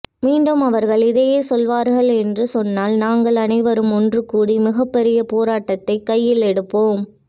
மீண்டும் அவர்கள் இதையே செய்வார்கள் என்று சொன்னால் நாங்கள் அனைவரும் ஒன்று கூடி மிகப்பெரிய போராட்டத்தை கையில் எடுப்போம்